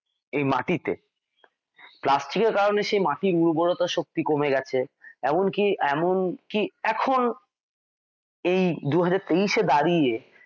এই মাটি তে plastic এর কারনে মাটির উর্বরতা শক্তি কমে গেছে এমনকি এমন এখন এই দু হাজার তেইশে দাড়িয়ে